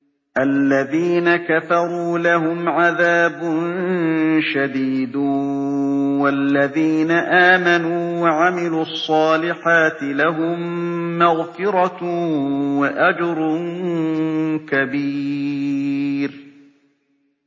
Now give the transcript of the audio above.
الَّذِينَ كَفَرُوا لَهُمْ عَذَابٌ شَدِيدٌ ۖ وَالَّذِينَ آمَنُوا وَعَمِلُوا الصَّالِحَاتِ لَهُم مَّغْفِرَةٌ وَأَجْرٌ كَبِيرٌ